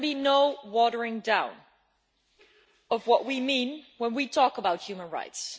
There can be no watering down of what we mean when we talk about human rights.